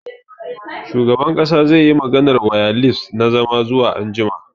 Shugaban kasa zai yi maganar wayalis na zama zuwa anjima.